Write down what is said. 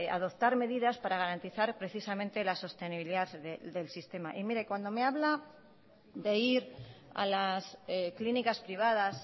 adoptar medidas para garantizar precisamente la sostenibilidad del sistema y mire cuando me habla de ir a las clínicas privadas